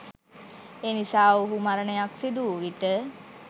එනිසා ඔවුහු මරණයක් සිදු වූ විට